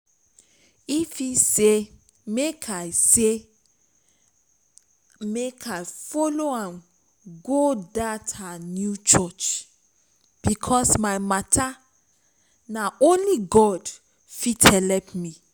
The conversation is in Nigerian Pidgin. ify say make i say make i follow am go dat her new church because my matter na only god fit help me